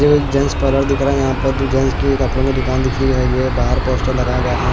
ये gents parlour दिख रहा है यहां पर जेंस की कपड़ों की दुकान दिख रही है ये बाहर पोस्टर लगाया गया है।